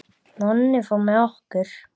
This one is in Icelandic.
Nonni fór með okkur.